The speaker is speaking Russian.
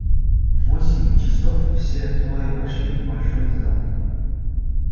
в восемь часов все трое вошли в большой зал